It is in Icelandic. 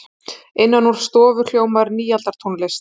Innan úr stofu hljómar nýaldartónlist.